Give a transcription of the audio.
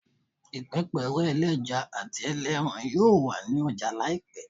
Ipepere eleja ati eleran yoo wa ni ọja laipẹ